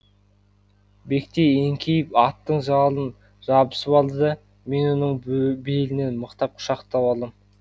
бектей еңкейіп аттың жалына жабысып алды да мен оның белінен мықтап құшақтап алдым